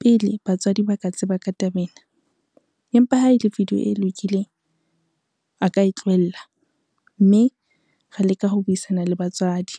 pele batswadi ba ka tseba ka taba ena, empa ha ele video e lokileng a ka e tlohella, mme re leka ho buisana le batswadi.